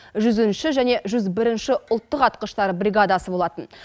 жүзінші және жүз бірінші ұлттық атқыштар бригадасы болатын